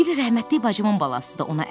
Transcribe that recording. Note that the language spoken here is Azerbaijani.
Tifili rəhmətlik bacımın balasıdır,